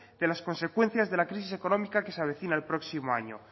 de las consecuencias de la crisis económica que se avecina el próximo año